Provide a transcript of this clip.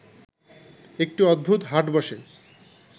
একটি অদ্ভুত হাট বসে